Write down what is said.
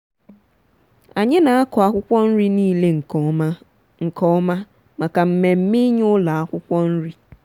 anyi n'aku akwụkwọ nriị niile nke ọma nke ọma maka mmemme inye ụlọ akwụkwọ nri.